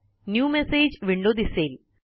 new message window दिसेल